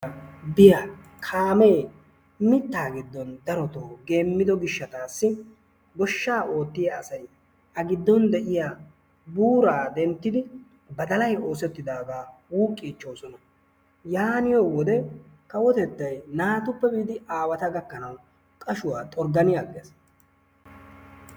kaamee mittaa giddon darootoo geemmido giishataassi gooshshaa oottiyaa asay a giddon de'iyaa buuraa denttidi badalay oosettidagaa wuqqiichchoosoan. yaaniyoo wode kawottettay naatuppe biidi aawaa gakkanawu qaashshuwaa xorggani aggees.